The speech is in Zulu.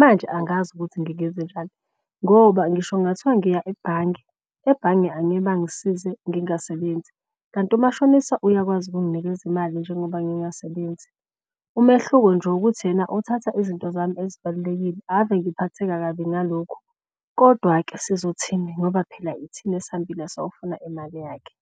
Manje angazi ukuthi ngingenze njani ngoba ngisho kungathiwa ngiya ebhange. Ebhange angeke bangisize ngingasebenzi kanti umashonisa uyakwazi ukunginikeza imali njengoba ngingasebenzi. Umehluko nje ukuthi yena othatha izinto zami ezibalulekile. Ave ngiphatheka kabi ngalokhu kodwa-ke sizothini ngoba phela ithina esihambile sayofuna imali yakhe.